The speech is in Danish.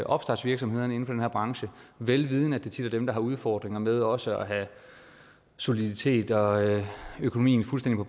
opstartsvirksomhederne inden for den her branche vel vidende at det tit er dem der har udfordringer med også at have soliditet og økonomien fuldstændig